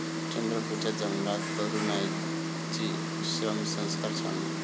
चंद्रपुरच्या जंगलात तरुणाईची श्रमसंस्कार छावणी